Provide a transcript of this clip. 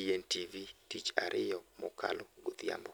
ENTV tich ariyo mokalo godhiambo.